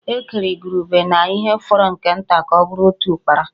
E kere igurube na ihe fọrọ nke nta ka ọ bụrụ otu Ụ́kpárá